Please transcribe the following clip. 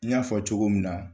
I y'a fɔ cogo min na.